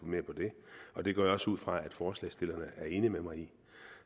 på det og det går jeg også ud fra at forslagsstillerne er enige med mig i